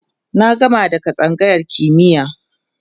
na gama daga tsangayar kimiya